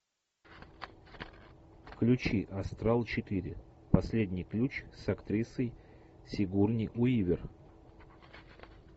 включи астрал четыре последний ключ с актрисой сигурни уивер